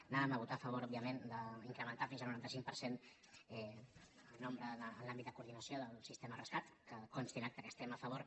anàvem a votar a favor òbviament d’incrementar ne fins al noranta cinc per cent el nombre en l’àmbit de coordinació del sistema rescat que consti en acta que hi estem a favor